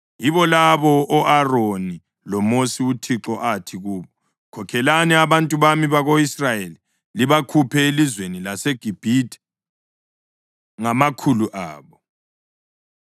Yibo labo o-Aroni loMosi uThixo athi kubo, “Khokhelani abantu bami bako-Israyeli libakhuphe elizweni laseGibhithe ngamakhulu abo.”